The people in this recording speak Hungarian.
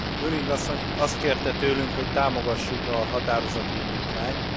Lulling asszony azt kérte tőlünk, hogy támogassuk a határozati indítványt.